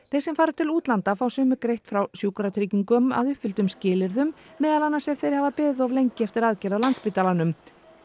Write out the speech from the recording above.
þeir sem fara til útlanda fá sumir greitt hjá Sjúkratryggingum að uppfylltum skilyrðum meðal annars ef þeir hafa beðið of lengi eftir aðgerð á Landspítalanum